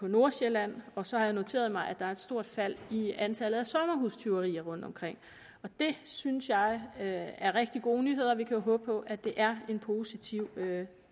nordsjælland og så har jeg noteret mig at der er et stort fald i antallet af sommerhustyverier rundtomkring og det synes jeg er rigtig gode nyheder vi kan jo håbe på at det er en positiv